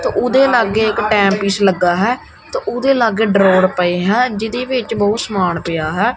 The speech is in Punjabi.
ਉਹਦੇ ਲਾਗੇ ਇੱਕ ਟਾਈਮ ਪੀਸ ਲੱਗਾ ਹੈ ਤਾ ਉਹਦੇ ਲਾਗੇ ਡਰਾਇਰ ਪਏ ਹੈ ਜਿਹਦੇ ਵਿੱਚ ਬਹੁਤ ਸਮਾਨ ਪਿਆ ਹੈ।